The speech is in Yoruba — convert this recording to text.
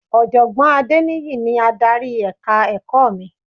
Ọ̀jọ̀gbọ́n Adéníyì ni adarí èka ẹ̀kọ́ mi